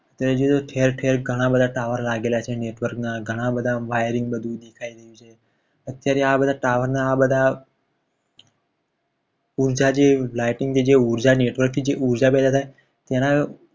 અત્યારે જોજો ઠેર ઠેર ઘણા બધા tower લાગેલા છે. network ના ઘણા બધા બધું vyring બધું દેખાઈ રહ્યું છે. ત્યારે આ બધા tower ના આ બધા ઊંચા જે lighting જે ઊર્જાની network થી ઉર્જા પેદા થાય છે. તેના